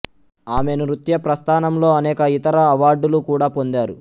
ఆమె నృత్య ప్రస్థానంలో అనేక యితర అవార్డులు కూడా పొందారు